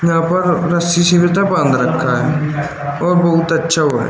यहां पर र रस्सी से तो ये बांध रखा है और बहुत अच्छा हुआ--